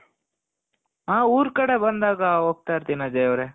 ಆ ಊರ್ ಕಡೆ ಬಂದಾಗ ಹೋಗ್ತಾ ಇರ್ತೀನಿ ಅಜಯ್ ಅವ್ರೆ